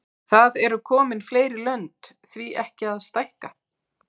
Það eru komin fleiri lönd, því ekki að stækka?